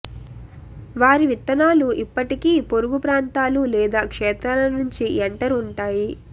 వారి విత్తనాలు ఇప్పటికీ పొరుగు ప్రాంతాలు లేదా క్షేత్రాల నుంచి ఎంటర్ ఉంటాయి